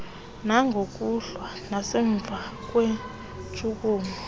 langokuhlwa nasemva kweentshukumo